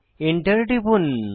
enter টিপুন